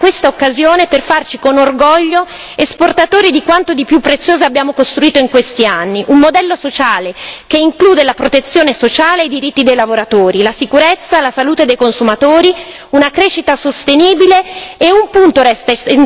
Possiamo e dobbiamo utilizzare questa occasione per farci con orgoglio esportatori di quanto di più prezioso abbiamo costruito in questi anni un modello sociale che include la protezione sociale e i diritti dei lavoratori, la sicurezza e la salute dei consumatori, una crescita sostenibile.